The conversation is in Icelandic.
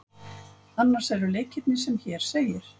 Annars eru leikirnir sem hér segir.